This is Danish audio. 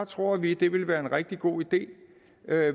tror vi det ville være en rigtig god idé